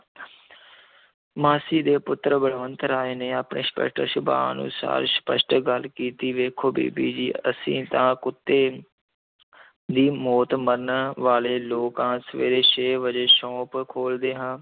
ਮਾਸੀ ਦੇ ਪੁੱਤਰ ਬਲਵੰਤ ਰਾਏ ਨੇ ਅਪਣੇ ਸਪਸ਼ਟ ਸੁਭਾਅ ਅਨੁਸਾਰ ਸਪਸ਼ਟ ਗੱਲ ਕੀਤੀ, ਵੇਖੋ ਬੀਬੀ ਜੀ, ਅਸੀਂ ਤਾਂ ਕੁੱਤੇ ਦੀ ਮੌਤ ਮਰਨ ਵਾਲੇ ਲੋਕ ਹਾਂ, ਸਵੇਰੇ ਛੇ ਵਜੇ ਸੌਂਪ ਖੋਲ੍ਹਦੇ ਹਾਂ,